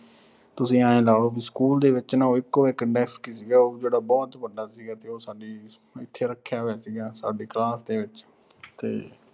ਤੁਸੀਂ ਆਏਂ ਲਾ ਲੋ ਵੀ ਸਕੂਲ ਦੇ ਵਿੱਚ ਨਾ ਉਹ ਇਕੋ ਇੱਕ desk ਸੀਗਾ, ਉਹ ਵੀ ਜਿਹੜਾ ਬਹੁਤ ਵੱਡਾ ਸੀਗਾ ਤੇ ਉਹ ਸਾਡੀ, ਇਥੇ ਰੱਖਿਆ ਹੋਇਆ ਸੀਗਾ, ਸਾਡੀ class ਦੇ ਵਿੱਚ